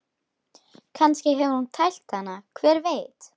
Kannski hefur hún tælt hann, hver veit?